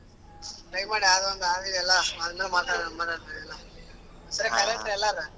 Try ಮಾಡ್ ಆಗಂದ್ರೆ ಆಗ್ಲಿ ಎಲ್ಲಾ .